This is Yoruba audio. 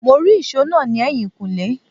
Mó rí ìsò náà ni ẹyin kule